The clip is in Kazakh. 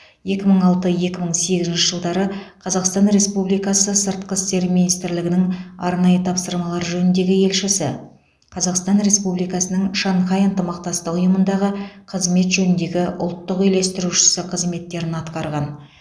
екі мың алты екі мың сегізінші жылдары қазақстан республикасы сыртқы істер министрлігінің арнайы тапсырмалар жөніндегі елшісі қазақстан республикасының шанхай ынтымақтастық ұйымындағы қызмет жөніндегі ұлттық үйлестірушісі қызметтерін атқарған